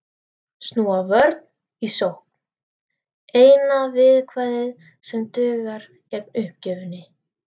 Snúa vörn í sókn, eina viðkvæðið sem dugar gegn uppgjöfinni.